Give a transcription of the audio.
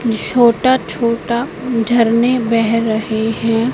छोटा छोटा झरने बह रहे हैं।